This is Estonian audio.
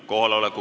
Palun!